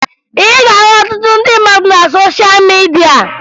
Ị ga-ahụ ọtụtụ ndị mmadụ na sosha midia